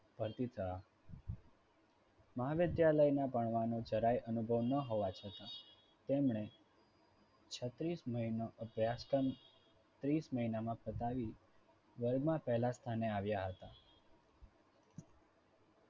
ફરતિતા મહાવિદ્યાલયમાં ભણવાનો જરાય અનુભવ ના હોવા છતાં તેમણે છત્રીસ મહિનો અભ્યાસક્રમ ત્રીસ મહિનામાં પતાવી world માં પહેલા સ્થાને આવ્યા હતા.